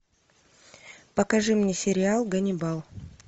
покажи мне сериал ганнибал